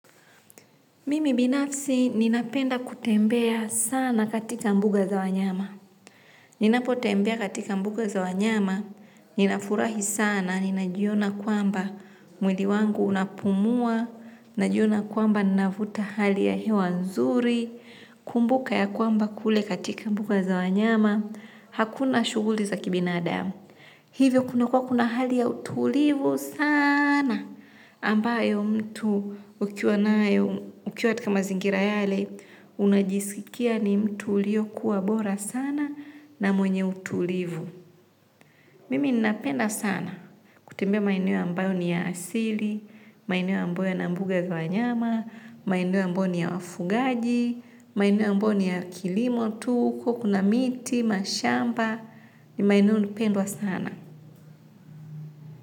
Mimi binafsi ninapenda kutembea sana katika mbuga za wanyama. Ninapotembea katika mbuga za wanyama, ninafurahi sana, ninajiona kwamba mwili wangu unapumua, ninajiona kwamba ninavuta hali ya hewa nzuri, kumbuka ya kwamba kule katika mbuga za wanyama, hakuna shughuli za kibinadamu. Hivyo kuna kwa kuna hali ya utulivu sana, ambayo mtu ukiwa katika mazingira yale unajisikia ni mtu uliokuwa bora sana na mwenye utulivu. Mimi ninapenda sana kutembea maeneo ambayo ni ya asili maeneo ambayo yana mbuga kwa nyama maeneo ambayo ni ya wafugaji maeneo ambayo ni ya kilimo tu huko kuna miti, mashamba ni maeneo nipendwa sana.